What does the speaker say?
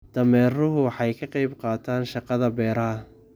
Dameeruhu waxay ka qayb qaataan shaqada beeraha.